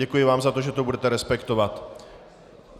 Děkuji vám za to, že to budete respektovat.